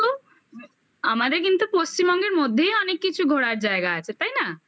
আর আমাদের কিন্তু আর আমাদের কিন্তু পশ্চিমবঙ্গের মধ্যেই অনেক কিছু ঘোরার জায়গা আছে তাই না